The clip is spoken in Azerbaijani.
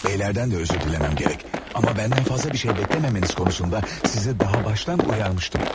Bəylərdən də üzr diləməm gərək, amma məndən fazla bir şey bəkləməməniz konusunda sizə daha başdan uyarmışdım.